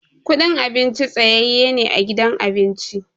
Kudin abinci tsayaye ne a gidan abinci.